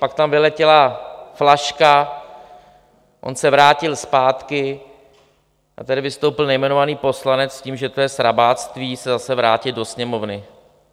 Pak tam vyletěla flaška, on se vrátil zpátky a tady vystoupil nejmenovaný poslanec s tím, že to je srabáctví se zase vrátit do Sněmovny.